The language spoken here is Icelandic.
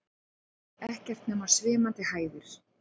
Ekkert nema svimandi hæðir.